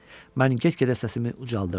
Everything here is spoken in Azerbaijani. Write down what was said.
Mən get-gedə səsimi ucaldırdım.